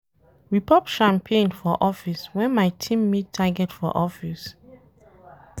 We pop champagne for office wen my team meet target for office.